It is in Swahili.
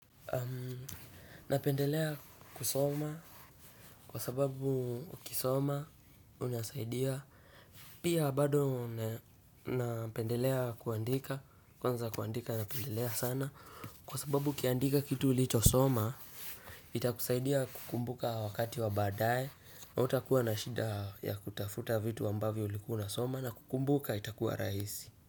Napendelea kusoma kwa sababu ukisoma unasaidia. Pia bado napendelea kuandika. Kwanza kuandika napendelea sana kwa sababu ukiandika kitu ulichosoma itakusaidia kukumbuka wakati wa baadaye na hutakuwa na shida ya kutafuta vitu ambavyo ulikuwa unasoma na kukumbuka itakuwa rahisi.